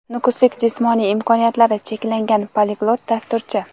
Nukuslik jismoniy imkoniyatlari cheklangan poliglot dasturchi.